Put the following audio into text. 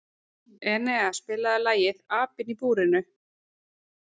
Enea, spilaðu lagið „Apinn í búrinu“.